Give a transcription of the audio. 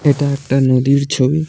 এটা একটা নদীর ছবি ।